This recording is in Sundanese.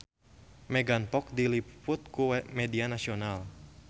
Megan Fox diliput ku media nasional